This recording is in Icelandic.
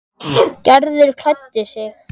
Gerður klæddi sig.